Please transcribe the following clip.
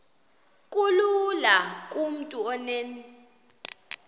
kulula kumntu onen